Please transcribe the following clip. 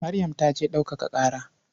Maryam ta je ɗaukaka ƙara.